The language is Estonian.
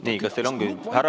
Nii, kas teil on küsimus?